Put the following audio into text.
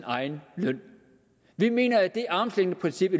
egen løn vi mener at det armslængdeprincip